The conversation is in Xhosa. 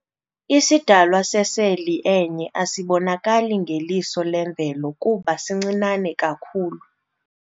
Isidalwa seseli enye asibonakali ngeliso lemvelo kuba sincinane kakhulu.